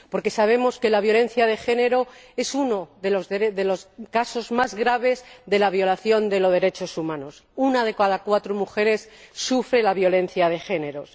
Porque sabemos que la violencia de género es uno de los casos más graves de violación de los derechos humanos una de cada cuatro mujeres sufre violencia de género.